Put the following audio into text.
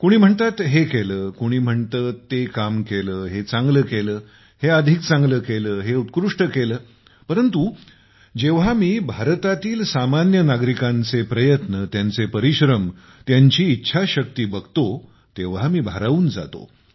कोणी म्हणतात हे केले कोणी म्हणते ते काम केले हे चांगले केले हे अधिक चंगले केले हे उत्कृष्ट केले परंतु जेव्हा मी भारतातील सामान्य नागरिकांचे प्रयत्न त्यांचे परिश्रम त्यांची इच्छाशक्ती बघतो तेव्हा मी भारावून जातो